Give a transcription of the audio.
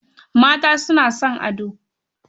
Mata suna son ado.